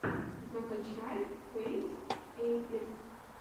закачай фэйз эйпекс